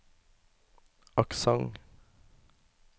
aksent